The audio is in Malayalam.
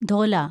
ധോല